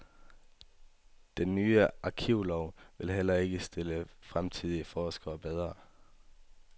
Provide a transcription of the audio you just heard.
Den nye arkivlov vil heller ikke stille fremtidige forskere bedre.